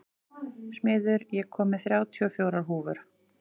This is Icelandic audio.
Smiður, ég kom með þrjátíu og fjórar húfur!